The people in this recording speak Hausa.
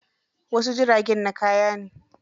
Wasu jiragen na kaya ne.